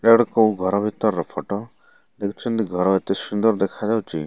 ଏଇଟା ଗୋଟେ କୋଉ ଘର ଭିତର ର ଫଟ ଦେଖୁଛନ୍ତି। ଘର ଏତେ ସୁନ୍ଦର ଦେଖା ଯାଉଛି।